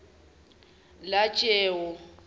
lajewo